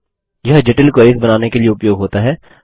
यह जटिल क्वेरीस बनाने के लिए उपयोग होता है